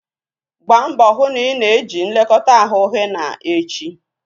Gbaa mbọ hụ na ị na-eji nlekọta ahụ henna echi!